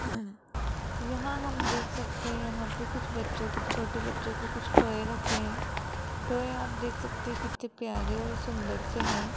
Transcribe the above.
यहां हम देख सकते है यहां पे कुछ बच्चों छोटे बच्चों के कुछ टॉय रखें हैं टॉय आप देख सकते कितने प्यारे और सुंदर से है।